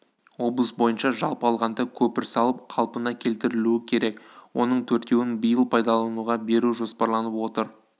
облыс бойынша жалпы алғанда көпір салып қалпына келтірілуі керек оның төртеуін биыл пайдалануға беру жоспарланып отыр